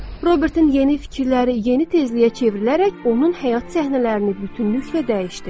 Robertin yeni fikirləri yeni tezliyə çevrilərək onun həyat səhnələrini bütünlüklə dəyişdi.